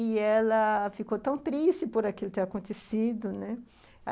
E ela.... ficou tão triste por aquilo ter acontecido, né?